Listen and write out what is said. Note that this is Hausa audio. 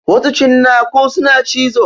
Wasu cinnaku suna cizo.